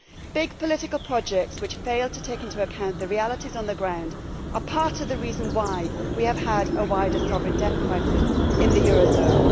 Big political projects which fail to take into account the realities on the ground are part of the reason why we have had a wider sovereign debt crisis in the eurozone.